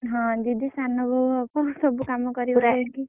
ହଁ ସାନ ବୋହୁ ହବ ସବୁ କାମ କରିବ।